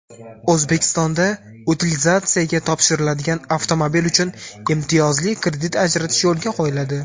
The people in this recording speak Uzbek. O‘zbekistonda utilizatsiyaga topshiriladigan avtomobil uchun imtiyozli kredit ajratish yo‘lga qo‘yiladi.